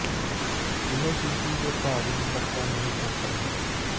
ਇਹ ਸ਼ੀਸ਼ੀ ਦੇ ਭਾਗ ਨੂੰ ਪਤਲਾ ਨਹੀ ਕਰਦਾ ਹੈ